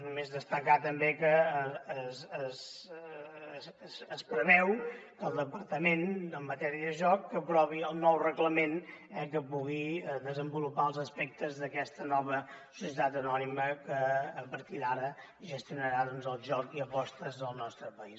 només destacar també que es preveu que el departament en matèria de joc aprovi el nou reglament que pugui desenvolupar els aspectes d’aquesta nova societat anònima que a partir d’ara gestionarà el joc i apostes del nostre país